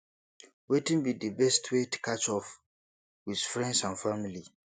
wetin be di best way to catch up with friends and family